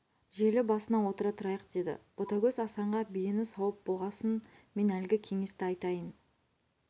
желі басына отыра тұрайық деді ботагөз асанға биені сауып болғасын мен әлгі кеңесті айтайын